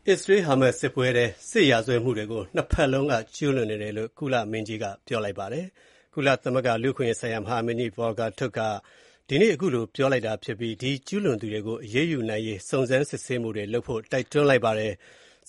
အစ္စရေး-ဟာမတ်စ် စစ်ပွဲအတွင်း စစ်ရာဇဝတ်မှုတွေကို နှစ်ဘက်စလုံးက ကျူးလွန်နေကြကြောင်း လူ့အခွင့်အရေးဆိုင်ရာ ကုလသမဂ္ဂ မဟာမင်းကြီး Volker Turk က ဒီကနေ့ ပြောကြားလိုက်ပြီး အဲဒီလို ကျူးလွန်သူတွေကို အရေးယူနိုင်ရေးအတွက် စုံစမ်း စစ်ဆေးမှုတွေ ပြုလုပ်ဖို့ တိုက်တွန်းလိုက်ပါတယ်။